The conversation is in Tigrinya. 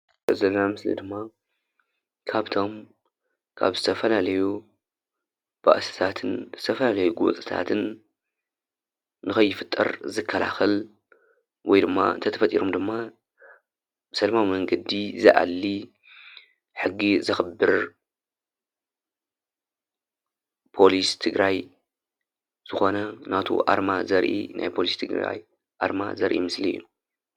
እዚ እንርእዮ ዘለና ምስሊ ድማ ካብቶም ካብ ዝተፈላለዩ ባእስታትን ዝተፈላለዩ ጎንፅትታትን ንክይፍጠር ዝከላከል ወይድማ ተተፈጢሮም ድማ ብሰለማዊ መንገዲ ዝኣሊ ሕጊ ዘክብር ፖሊስ ትግራይ ዝኮነ ናቱ ኣርማ ዘርኢ ናይ ፖሊስ ትግራይ ኣርማ ዘርኢ ምስሊ እዩ።